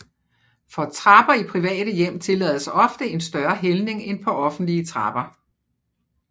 For trapper i private hjem tillades ofte en større hældning end på offentlige trapper